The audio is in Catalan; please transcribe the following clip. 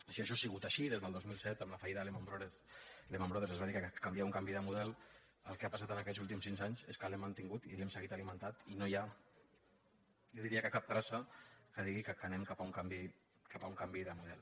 si això ha sigut així des del dos mil set amb la fallida de lehman brothers es va dir que calia un canvi de mo·del el que ha passat aquests últims cinc anys és que l’hem mantingut i l’hem seguit alimentant i no hi ha jo diria que cap traça que digui que anem cap a un can·vi de model